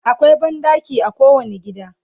akwai banɗaki a kowani gida